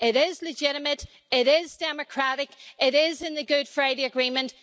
It is legitimate, it is democratic, it is in the Good Friday Agreement.